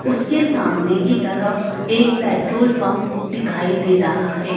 उसके सामने की तरफ एक पेट्रोल पंप दिखाई दे रहा है।